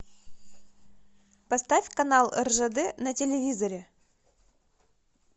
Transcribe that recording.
поставь канал ржд на телевизоре